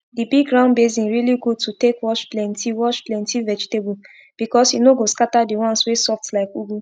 d big round basin really good to take wash plenty wash plenty vegetable becos e no go scata d ones wey soft like ugu